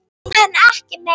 En ekki meira.